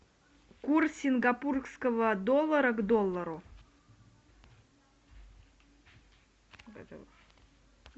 курс сингапурского доллара к доллару